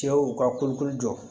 Cɛw ka kolokolo jɔ